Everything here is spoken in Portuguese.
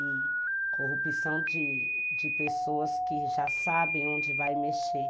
E corrupção de de pessoas que já sabem onde vai mexer.